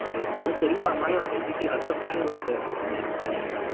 मला तरी कमाल वाटायची कि असा काय होतंय नेमकं ह्यांना किंवा हे